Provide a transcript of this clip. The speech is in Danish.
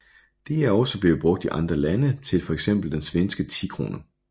Det er også blevet brugt I andre lande til for eksempel den svenske 10 krone